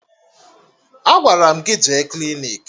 Agwara m gị jee klinik!